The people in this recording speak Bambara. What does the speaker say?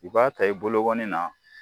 U k'a ta i bologɔnni na